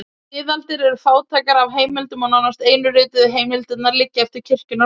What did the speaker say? Miðaldir eru fátækar af heimildum og nánast einu rituðu heimildirnar liggja eftir kirkjunnar menn.